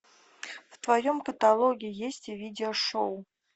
в твоем каталоге есть видео шоу